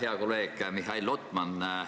Hea kolleeg Mihhail Lotman!